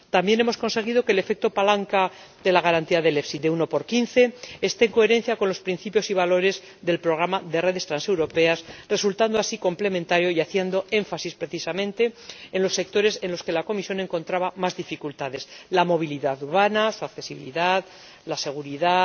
También hemos conseguido que el efecto palanca de la garantía del FEIE de 1 x 15 esté en coherencia con los principios y valores del programa de redes transeuropeas, resultando así complementario y haciendo énfasis precisamente en los sectores en los que la Comisión encontraba más dificultades la movilidad urbana, su accesibilidad, la seguridad,